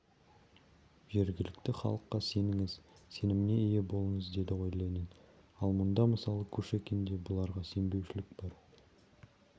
жергілікті халыққа сеніңіз сеніміне ие болыңыз деді ғой ленин ал мұнда мысалы кушекинде бұларға сенбеушілік бар